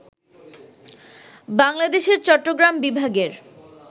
বাংলাদেশের চট্টগ্রাম বিভাগের